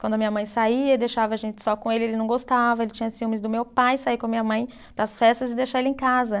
Quando a minha mãe saía, deixava a gente só com ele, ele não gostava, ele tinha ciúmes do meu pai, sair com a minha mãe para as festas e deixar ele em casa.